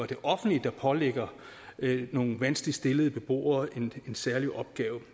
det offentlige der pålægger nogle vanskeligt stillede beboere en særlig opgave